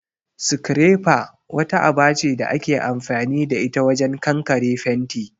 'Scrapper'' wata aba ce da ake amfani da ita wajen kankare fenti